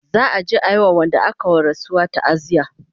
za'a je a wa Wanda aka wa rasuwa taaziya